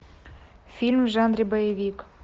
фильм в жанре боевик